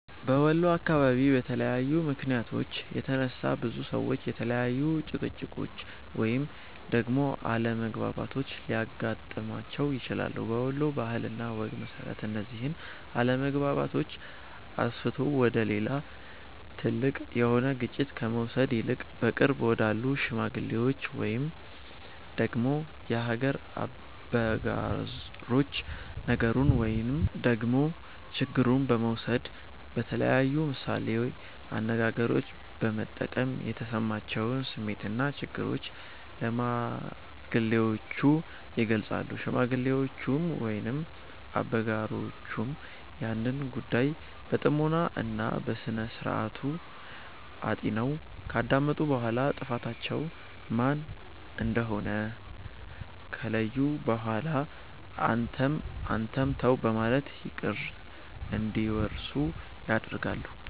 በወሎ አካባቢ በተለያዩ ምክንያቶች የተነሳ፤ ብዙ ሰዎች የተለያዩ ጭቅጭቆች ወይንም ደግሞ አለመግባባቶች ሊያገጥማቸው ይችላል። በወሎ ባህል እና ወግ መሰረት፤ እነዚህን አለመግባባቶች አስፍቶ ወደ ሌላ ትልቅ የሆነ ግጭት ከመውሰድ ይልቅ በቅርብ ወዳሉ ሽማግሎች ወይንም ደግሞ የሀገር አበጋሮች ነገሩን ወይንም ደግሞ ችግሩን በመውሰድ በተለያዩ ምሳሌ አነጋገሮች በመጠቀም የተሰማቸውን ስሜትና ችግሩን ለሽማግሌዎቹ ይገልፃሉ። ሽማግሌዎቹም ወይንም አበጋሮቹም ያንን ጉዳይ በጥሞና እና በስነስርዓቱ አጢነው ካዳመጡ በኋላ ጥፋተኛው ማን እንደሆነ ከለዩ በኋላ አንተም አንተም ተው በማለት እርቅ እንዲወርድ ያደርጋሉ።